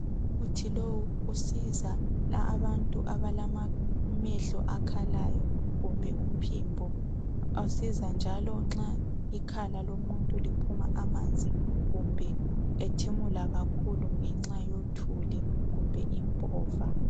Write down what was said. Umuthi lo usiza abantu abalamehlo akhalayo kumbe uphimbo usiza njalo nxa ikhala lomuntu liphuma amanzi kumbe ethimula kakhulu ngenxa yothuli kumbe impova.